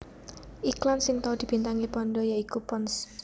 Iklan sing tau dibintangi panda ya iku Pond s